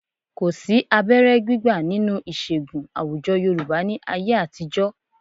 Kò sí abẹ́rẹ́ gbígbà nínú ìṣègùn àwùjọ Yorùbá ní ayé àtijọ́.